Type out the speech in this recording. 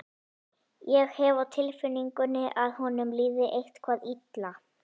Ég hef á tilfinningunni að honum líði eitthvað illa.